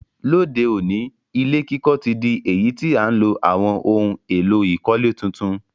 Lóde òní, ilé kíkọ́ ti dí èyí ti a ti n lo àwon oun èló ìkọ́lé tuntun